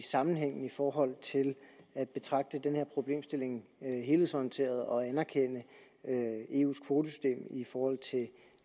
sammenhængen i forhold til at betragte den her problemstilling helhedsorienteret og anerkende eus kvotesystem i forhold til